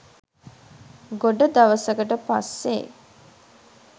ගොඩ දවසකට පස්සේ